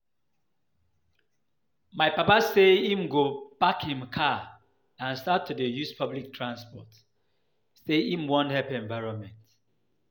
My papa say im go park im car and start to dey use public transport, say im wan help environment